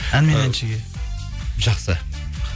ән мен әншіге жақсы